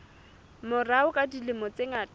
morao ka dilemo tse ngata